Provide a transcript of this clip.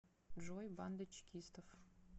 джой банда чекистов